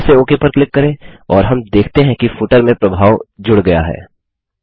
फिर से ओक पर क्लिक करें और हम देखते हैं कि फुटर में प्रभाव जुड़ गया है